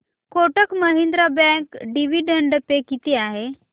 Kotak Mahindra bank dividend pay किती आहे